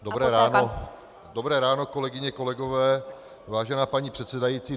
Dobré ráno, kolegyně, kolegové, vážená paní předsedající.